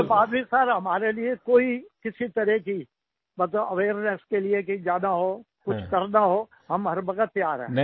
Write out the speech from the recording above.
उसके बाद भी सिर हमारे लिए कोई किसी तरह की मतलब अवेयरनेस के लिए कहीं जाना हो कुछ करना हो हम हर वक़्त तैयार हैं